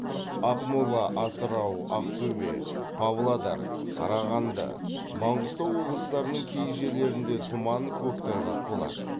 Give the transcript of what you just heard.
ақмола атырау ақтөбе павлодар қарағанды маңғыстау облыстарының кей жерлерінде тұман көктайғақ болады